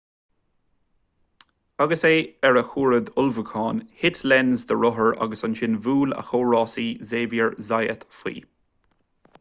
agus é ar a chuaird ullmhúcháin thit lenz dá rothar agus ansin bhuail a chomh-rásaí xavier zayat faoi